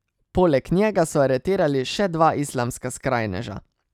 Poleg njega so aretirali še dva islamska skrajneža.